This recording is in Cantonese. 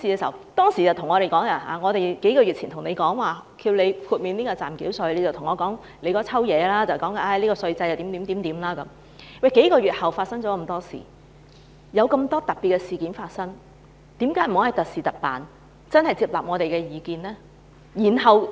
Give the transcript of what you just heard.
在數個月前，當我們要求司長豁免暫繳稅時，他說了一大堆話，指稅制怎樣怎樣，但在數個月後發生了很多特別的事情，為何不可以特事特辦，接納我們的意見？